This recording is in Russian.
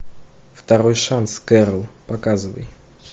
второй шанс кэрол показывай